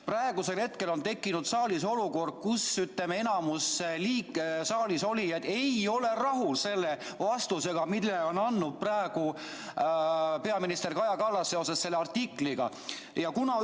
Praegu on tekkinud saalis olukord, kus enamik saalisolijad ei ole rahul vastusega, mille on andnud peaminister Kaja Kallas selle artikli kohta.